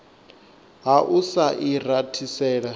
ha u sa i rathisela